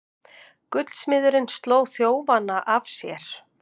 Gullsmiðurinn sló þjófana af sér